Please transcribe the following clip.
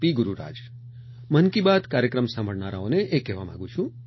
ગુરુરાજ મન કી બાત કાર્યક્રમ સાંભળનારાઓને એ કહેવા માંગુ છું